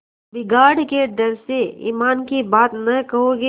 बिगाड़ के डर से ईमान की बात न कहोगे